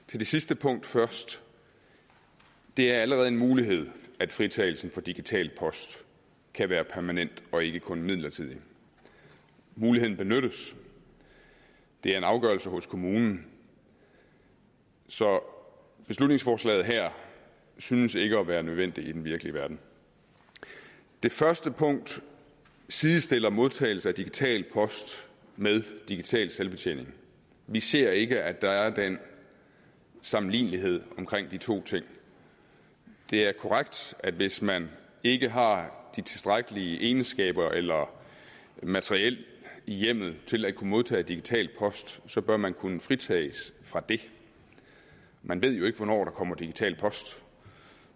til det sidste punkt først det er allerede en mulighed at fritagelsen for digital post kan være permanent og ikke kun midlertidig muligheden benyttes det er en afgørelse hos kommunen så forslaget her synes ikke at være nødvendigt i den virkelige verden det første punkt sidestiller modtagelse af digital post med digital selvbetjening vi ser ikke at der er den sammenlignelighed omkring de to ting det er korrekt at hvis man ikke har de tilstrækkelige egenskaber eller materiel i hjemmet til at kunne modtage digital post så bør man kunne fritages fra det man ved jo ikke hvornår der kommer digital post